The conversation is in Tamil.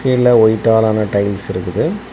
கீழ ஒய்ட்டாலான டைல்ஸ் இருக்குது.